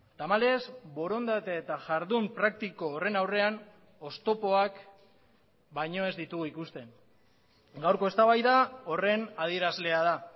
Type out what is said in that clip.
tamalez borondate eta jardun praktiko horren aurrean oztopoak baino ez ditugu ikusten gaurko eztabaida horren adierazlea da